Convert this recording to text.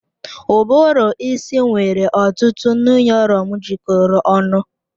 Uburu isi nwere ọtụtụ nuyurọn jikọrọ ọnụ.